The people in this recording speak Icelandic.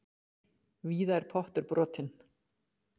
Víða er pottur brotinn.